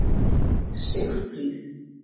Sigfríð